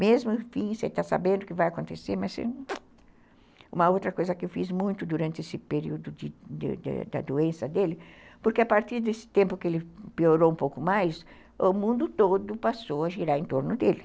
Mesmo enfim, você está sabendo que vai acontecer, mas você... Uma outra coisa que eu fiz muito durante esse período de de da doença dele, porque a partir desse tempo que ele piorou um pouco mais, o mundo todo passou a girar em torno dele.